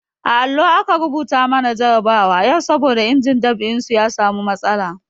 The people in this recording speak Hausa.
A allo aka rubuta mana jarabawa yau saboda injin dab'in su ya samu matsala.